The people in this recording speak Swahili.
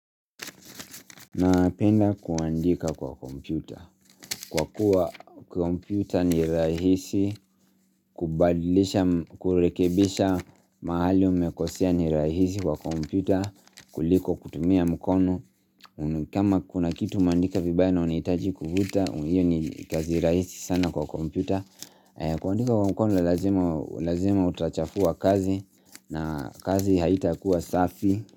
Napenda kuandika kwa kompyuta Kwa kuwa kompyuta ni rahisi kubadilisha kurekebisha mahali umekosea ni rahisi kwa kompyuta kuliko kutumia mkono kama kuna kitu umeandika vibaya na unahitaji kuvuta Iyo ni kazi rahisi sana kwa kompyuta kuandika kwa mkono lazima utachafua kazi na kazi haitakuwa safi.